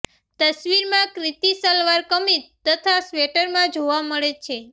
તસવીરમાં ક્રિતિ સલવાર કમીઝ તથા સ્વેટરમાં જોવા મળે છે